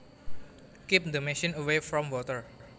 Keep the machine away from water